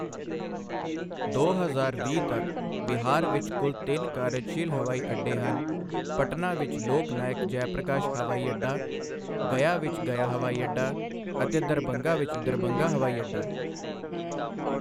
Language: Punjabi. ਦੋ ਹਜ਼ਾਰ ਵੀਹ ਤੱਕ ਬਿਹਾਰ ਵਿੱਚ ਕੁੱਲ ਤਿੰਨ ਕਾਰਜਸ਼ੀਲ ਹਵਾਈ ਅੱਡੇ ਹਨਃ ਪਟਨਾ ਵਿੱਚ ਲੋਕ ਨਾਇਕ ਜੈਪ੍ਰਕਾਸ਼ ਹਵਾਈ ਅੱਡਾ, ਗਯਾ ਵਿੱਚ ਗਯਾ ਹਵਾਈ ਅੱਡਾ ਅਤੇ ਦਰਭੰਗਾ ਵਿੱਚ ਦਰਭੰਗਾ ਹਵਾਈ ਅੱਡਾ।